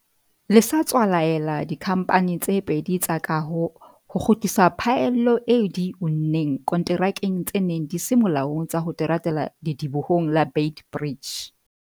le sa tswa laela dikhamphane tse pedi tsa kaho ho kgutlisa phaello eo di e unneng konterakeng tse neng di se molaong tsa ho teratela ledibohong la Beit Bridge.